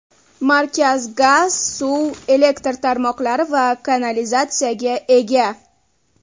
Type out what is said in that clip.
Markaz gaz, suv, elektr tarmoqlari va kanalizatsiyaga ega.